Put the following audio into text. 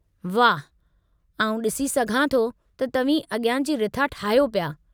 वाहु, आउं ॾिसी सघां थो त तव्हीं अॻियां जी रिथा ठाहियो पिया।